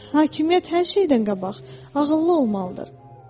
Hakimiyyət hər şeydən qabaq ağıllı olmalıdır.